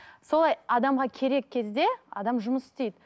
солай адамға керек кезде адам жұмыс істейді